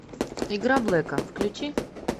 игра блэка включи